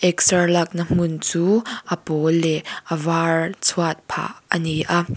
exer lakna hmun chu a pawl leh a var chhuat phah ani a.